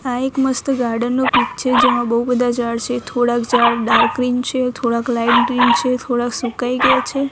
આ એક મસ્ત ગાર્ડન નો પીક છે જેમાં બહુ બધા ઝાડ છે થોડાક ઝાડ ડાર્ક ગ્રીન છે થોડાક લાઈટ ગ્રીન છે થોડાક સુકાઈ ગયા છે.